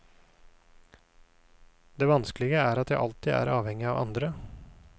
Det vanskelige er at jeg alltid er avhengig av andre.